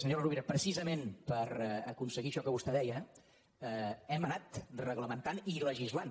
senyora rovira precisament per aconseguir això que vostè deia hem anat reglamentant i legislant